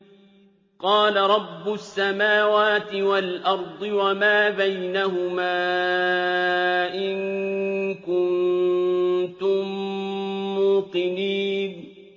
قَالَ رَبُّ السَّمَاوَاتِ وَالْأَرْضِ وَمَا بَيْنَهُمَا ۖ إِن كُنتُم مُّوقِنِينَ